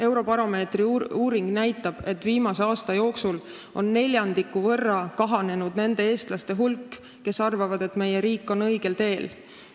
Eurobaromeetri uuring näitab, et viimase aasta jooksul on neljandiku võrra kahanenud nende eestlaste hulk, kes arvavad, et meie riik on õigel teel.